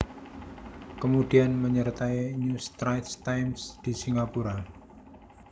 Kemudian menyertai New Straits Times di Singapura